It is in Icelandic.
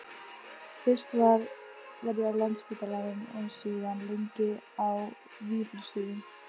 Fyrst var ég á Landspítalanum og síðan lengi á Vífilsstöðum.